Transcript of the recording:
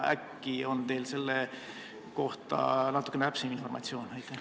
Äkki on teil selle kohta natukene täpsemat informatsiooni?